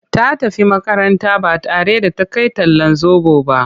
Ta tafi makaranta ba tare da ta kai talllan zoɓo ba.